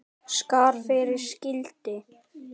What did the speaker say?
Skarð fyrir skildi